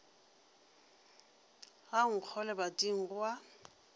ga nkgo lebating go a